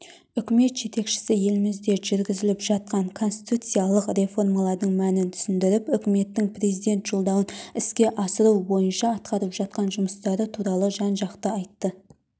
үкімет жетекшісі елімізде жүргізіліп жатқан конституциялық реформалардың мәнін түсіндіріп үкіметтің президент жолдауын іске асыру бойынша атқарып жатқан жұмыстары туралы жан-жақты айтты